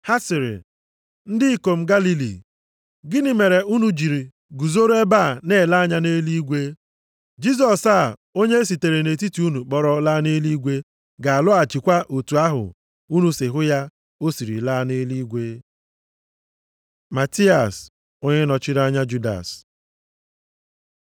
Ha sịrị, “Ndị ikom Galili, gịnị mere unu jiri guzoro ebe a na-ele anya nʼeluigwe? Jisọs a onye e sitere nʼetiti unu kpọrọ laa nʼeluigwe ga-alọghachikwa otu ahụ unu si hụ ya o siri laa nʼeluigwe.” Mataias, onye nọchiri anya Judas